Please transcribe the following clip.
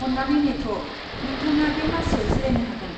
अन्नानै नेथ', नोंथाङा बे मासियाव जिरायनो हागोन।